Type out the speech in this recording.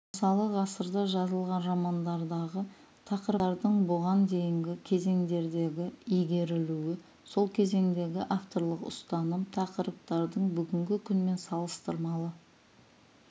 мысалы ғасырда жазылған романдардағы тақырыптардың бұған дейінгі кезеңдердегі игерілуі сол кезеңдегі авторлық ұстаным тақырыптардың бүгінгі күнмен салыстырмалы